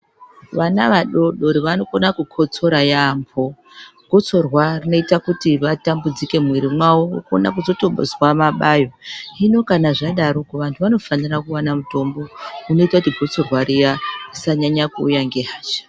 Vana vadodori vanokona kukotsora yaamho gotsorwa rinoita kuiti vatamudzike mumwiri mavo vozotozwa mabayo. Hino kana zvadaro vantu vanofanira kuvana mutombo unoita kuti gotsorwa riya risanyanya kuuya ngehasha.